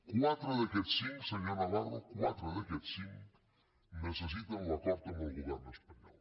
quatre d’aquests cinc senyor navarro quatre d’aquests cinc necessiten l’acord amb el govern espanyol